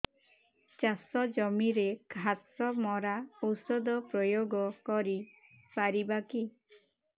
ଚାଷ ଜମିରେ ଘାସ ମରା ଔଷଧ ପ୍ରୟୋଗ କରି ପାରିବା କି